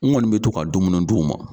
N kɔni be to ka dumuni d'u ma